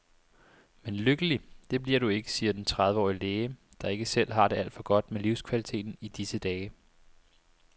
Men lykkelig, det bliver du ikke, siger den trediveårige læge, der ikke selv har det alt for godt med livskvaliteten i disse dage.